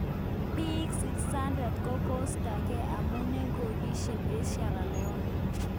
pik 600 kokostagen amun en kongishegn en Sierra Leone